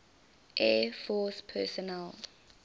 air force personnel